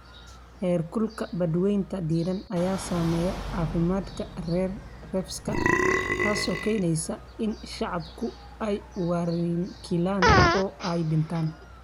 Heerkulka badweynta diiran ayaa saameeya caafimaadka reefs-ka, taasoo keenaysa in shacaabku ay warankiilaan oo ay dhintaan.